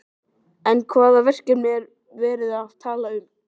En hvaða verkefni er verið að tala um?